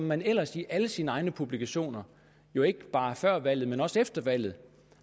man ellers i alle sine egne publikationer jo ikke bare før valget men også efter valget